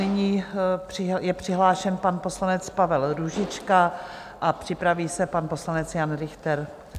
Nyní je přihlášen pan poslanec Pavel Růžička a připraví se pan poslanec Jan Richter.